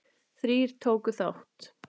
Þrír tóku þátt.